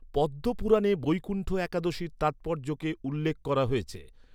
পদ্ম পুরাণে বৈকুণ্ঠ একাদশীর তাৎপর্যকে উল্লেখ করা হয়েছে।